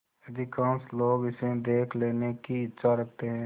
अधिकांश लोग इसे देख लेने की इच्छा रखते हैं